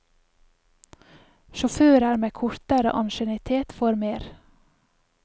Sjåfører med kortere ansiennitet får mer.